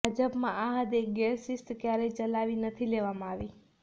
ભાજપમાં આ હદે ગેરશિસ્ત ક્યારેય ચલાવી નથી લેવામાં આવી